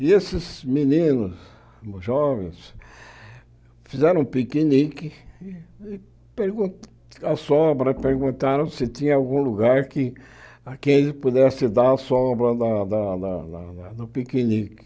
E esses meninos, jovens, fizeram um piquenique e pergun a sobra perguntaram se tinha algum lugar a quem pudesse dar a sobra da da da do piquenique.